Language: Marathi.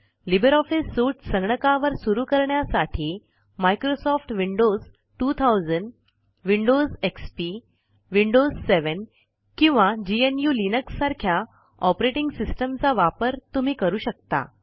लिब्रे ऑफिस सूट संगणकावर सुरू करण्यासाठी Microsoft Windows 2000 Windows XP Windows 7 किंवा gnuलिनक्स सारख्या ऑपरेटिंग सिस्टम चा वापर तुम्ही करू शकता